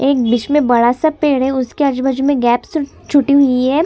एक बीच में बड़ा सा पेड़ है उसके आजु-बाजू में गैप्स छुटी हुई है।